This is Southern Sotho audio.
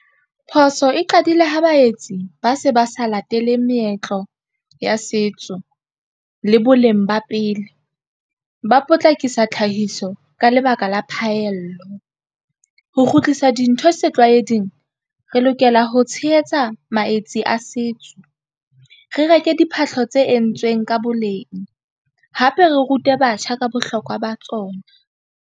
Phoso e qadile ho baetsi ba se ba sa lateleng meetlo ya setso le boleng ba pele ba potlakisa tlhahiso ka lebaka la phaello ho kgutlisa dintho setlwaeding re lokela ho tshehetsa maetsi a setso re reke diphahlo tse entsweng ka boleng hape re rute batjha ka bohlokwa ba tsona.